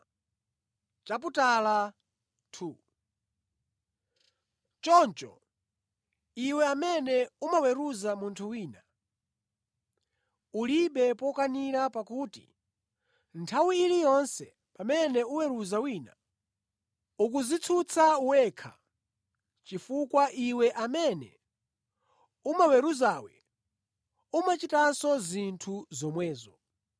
Choncho, iwe amene umaweruza munthu wina, ulibe pokanira pakuti nthawi iliyonse pamene uweruza wina ukudzitsutsa wekha chifukwa iwe amene umaweruzawe umachitanso zinthu zomwezo.